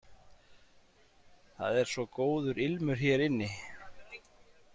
Það er svo góður ilmur hér inni.